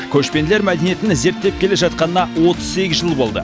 көшпенділер мәдениетін зерттеп келе жатқанына отыз сегіз жыл болды